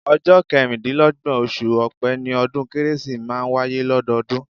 Ọjọ́ kẹrìndínlọ́gbọ̀n, oṣù ọ̀pẹ́ ni ọdún kérésì máa ń wáyé lọ́dọọdún